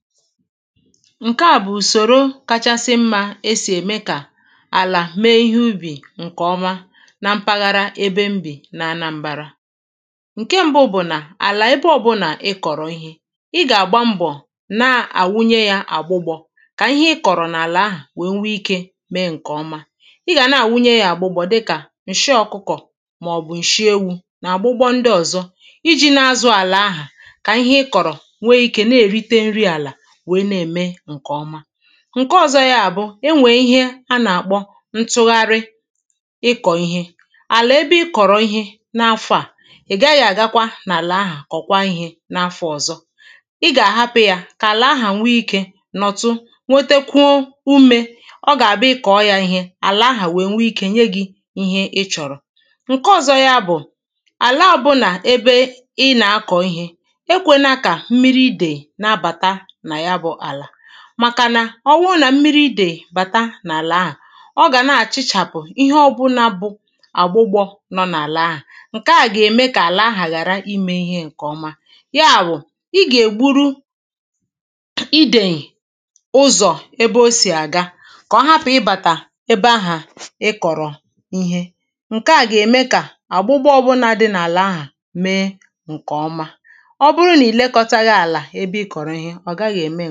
Ǹkeà bụ̀ ùsòro kachasị mmā esì ème kà àlà mee ihe ubì ǹkèọma na mpaghara ebe m bì na anambārā Nke mbụ bụ̀ nà àlà ebe ọbụnà ịk̀ọ̀rọ̀ ihe, ị ga-àgba mbọ̀ na-àwụnye yā agbụgbọ̄, kà ihe ịkọ̀rọ̀ nà-àlà ahụ̀ kà o nwee ikē mēē ǹkè ọma Ịgà na-àwụnye yā àgbụgbọ̄ dịkà ǹshị ọkụkọ̀ màọ̀bụ̀̀ ǹshị ewū, nà àgbụgbọ ndị ọ̀zọ ijī na-azụ̄ àlà àha kà ihe ị kọ̀rọ̀ nwee ikē na-èrite nri àlà wèe na-ème ǹkèọma Ǹke ọ̀zọ yā bụ, enwèè ihe a nà-àkpọ ntụgharị ịkọ̀ ihe Àlà ebe ị kọ̀rọ̀ ihe n’afọ̄ à, ị̀ gaghị̄ àgakwa nà-àlà ahà kọ̀kwaa ihē n’afọ̄ ọ̀zọ Ị gà-àhapụ̄ yà kà ànà ahà nwee ikē nọ̀tụ, nwetekwuo umē, ọ gà-àbụ ị kọ̀ọ yā īhē, àlà ahà wèe nwèe ikē nye gị̄ ihe ị chọ̀rọ̀ Ǹke ọ̀zọ ya bụ̀ àla ọbụnà ebe ị nà-akọ̀ ihē, ekwēlā kà mmiri idèì na-abàta nà ya bụ̄ àlà Màkà nà ọwụrụ nà m̀miri idèì bàta n’àlà ahà, ọ gà na-àchịchàpụ ihe ọbụnā bụ agbụgbọ̄ nọ n’àlà ahà Ǹkeà gà-ème kà àlà ahà ghàra imē ihe ǹkèọma Ya bụ̀, I gà-ègburu idèì ụzọ̀ ebe o sì àga kọ̀ọ hapụ̀ ịbàtà ebe ahà ịkọ̀rọ̀ ihe Ǹkeà gà-ème kà àgbụgbọ ọbụnā dị nà-àlà ahà mee ǹkèọma Ọbụrụ nà ìlekọtaghị àlà ebe ị̀ kọ̀rọ̀ ihe, ọ̀gaghī ème